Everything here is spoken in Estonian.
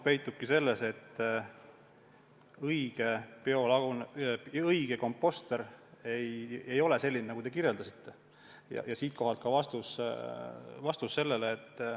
Vastus on see, et õige komposter ei ole selline, nagu te kirjeldasite.